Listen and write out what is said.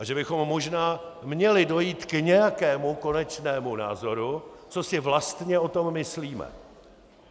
A že bychom možná měli dojít k nějakému konečnému názoru, co si vlastně o tom myslíme.